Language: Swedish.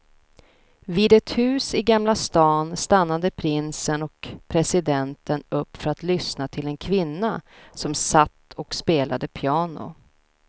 Vid ett hus i gamla stan stannade prinsen och presidenten upp för att lyssna till en kvinna som satt och spelade piano.